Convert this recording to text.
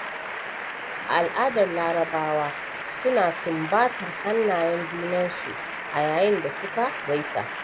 A al'adar larabawa suna sumbatar hannayen junansu a yayin da suka gaisa.